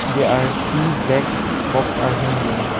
There are two black box are hanging.